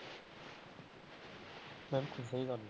ਬਿਲਕੁਲ ਸਹੀ ਗੱਲ ਆ।